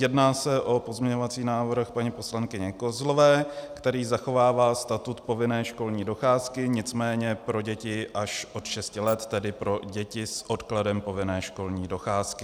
Jedná se o pozměňovací návrh paní poslankyně Kozlové, který zachovává statut povinné školní docházky, nicméně pro děti až od šesti let, tedy pro děti s odkladem povinné školní docházky.